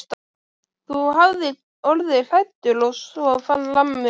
Þú hafir orðið hræddur og svo framvegis.